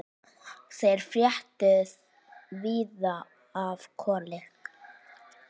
Þeir fréttu víða af Kolli.